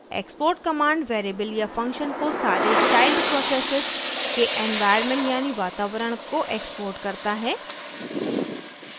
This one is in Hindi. export command variable या function को सारे child processes के एन्वाइरन्मन्ट यानी वातावरण को export करता है